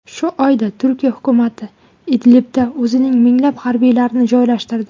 Shu oyda Turkiya hukumati Idlibda o‘zining minglab harbiylarini joylashtirdi.